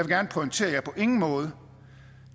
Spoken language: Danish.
gerne pointere at jeg på ingen måde